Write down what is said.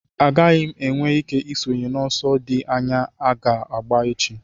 Agaghị m enwe ike isonye n'ọsọ dị anya aga agba echi